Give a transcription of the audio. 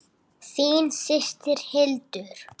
Þín systir, Hildur.